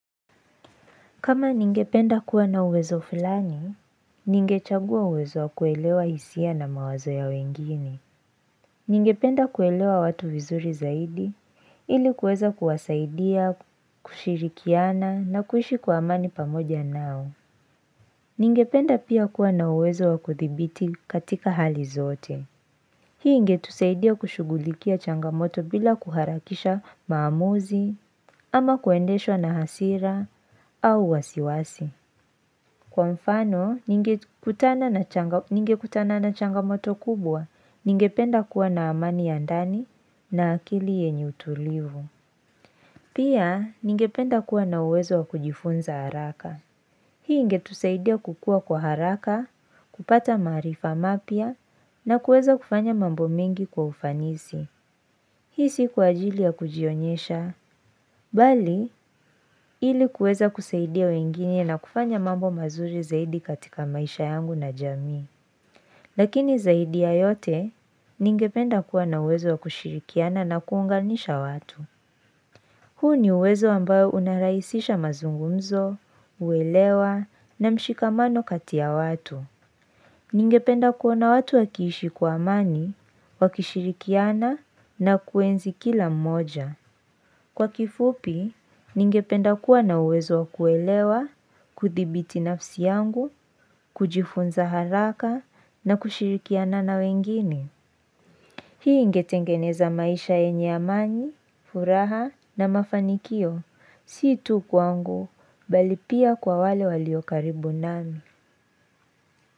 Kama ningependa kuwa na uwezo fulani, ningechagua uwezo wa kuelewa hisia na mawazo ya wengine. Ningependa kuelewa watu vizuri zaidi, ili kuweza kuwasaidia, kushirikiana na kuishi kwa amani pamoja nao. Ningependa pia kuwa na uwezo wa kuthibiti katika hali zote. Hii ingetusaidia kushughulikia changamoto bila kuharakisha maamuzi, ama kuendeshwa na hasira, au wasiwasi. Kwa mfano, ningekutana na changamoto kubwa, ningependa kuwa na amani ya ndani na akili yenye tulivu. Pia, ningependa kuwa na uwezo wa kujifunza haraka. Hii ingetusaidia kukua kwa haraka, kupata maarifa mapya, na kuweza kufanya mambo mengi kwa ufanisi. Hii si kwa ajili ya kujionyesha, bali ili kuweza kusaidia wengine na kufanya mambo mazuri zaidi katika maisha yangu na jamii. Lakini zaidi ya yote ningependa kuwa na uwezo wa kushirikiana na kuunganisha watu. Huu ni uwezo ambayo unarahisisha mazungumzo, uwelewa na mshikamano kati ya watu. Ningependa kuona watu wakiishi kwa amani, wakishirikiana na kuenzi kila mmoja. Kwa kifupi, ningependa kuwa na uwezo wa kuelewa, kuthibiti nafsi yangu, kujifunza haraka na kushirikiana na wengine. Hii ingetengeneza maisha yenye amani, furaha na mafanikio, si tu kwangu, Bali pia kwa wale walio karibu nami.